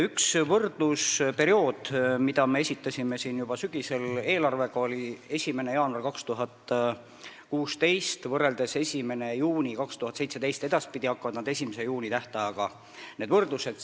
Üks võrdlusperiood, mille me esitasime juba sügisel koos eelarvega, oli 1. jaanuar 2016 kuni 1. juuni 2017 .